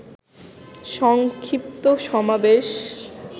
সংক্ষিপ্ত সমাবেশ